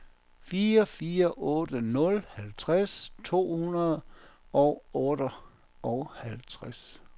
fire fire otte nul halvtreds to hundrede og otteoghalvtreds